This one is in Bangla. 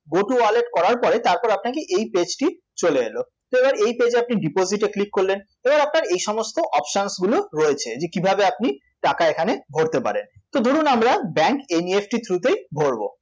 Go to wallet করার পরে তারপরে আপনাকে এই page টি চলে এল তো এবার এই page এ আপনি deposit এ click করলেন এবার আপনার এই সমস্ত options গুলো রয়েছে যে কীভাবে আপনি টাকা এখানে ভরতে পারেন তো ধরুন আমরা bank NEFT এর through তেই ভরব